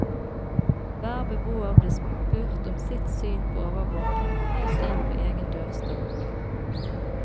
Hver beboer ble spurt om sitt syn på overvåking helt inn på egen dørstokk.